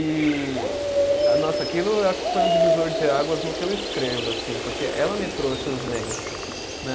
E ah, nossa, aquilo acho que foi um divisor de águas no que eu escrevo, assim, porque ela me trouxe o zen, né?